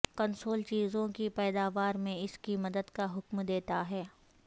console چیزوں کی پیداوار میں اس کی مدد کا حکم دیتا ہے